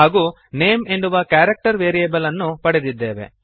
ಹಾಗೂ ನೇಮ್ ಎನ್ನುವ character variable ಅನ್ನು ಪಡೆದಿದ್ದೇವೆ